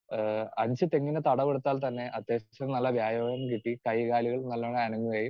speaker 2 ഏഹ് അഞ്ച് തെങ്ങിന് തടം എടുത്താൽ തന്നെ അത്യാവശ്യം നല്ല വ്യായാമം കിട്ടി കൈകാലുകൾ നല്ലവണ്ണം അനങ്ങുകയും